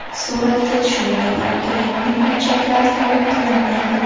Suratga tushmagan abituriyentning hujjatlari qabul qilinmaydi.